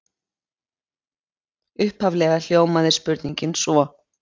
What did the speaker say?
Upphaflega hljómaði spurningin svo: